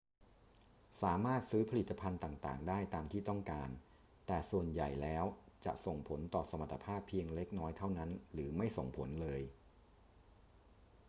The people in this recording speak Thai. สามารถซื้อผลิตภัณฑ์ต่าง ๆ ได้ตามที่ต้องการ แต่ส่วนใหญ่แล้วจะส่งผลต่อสมรรถภาพเพียงเล็กน้อยเท่านั้นหรือไม่ส่งผลเลย